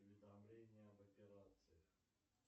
уведомление об операции